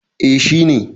eh shi ne